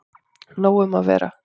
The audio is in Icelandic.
Nóg um að vera